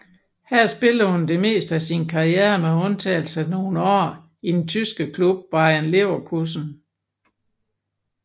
Her spillede hun det meste af sin karriere med undtagelse af nogle år i den tyske klub Bayer Leverkusen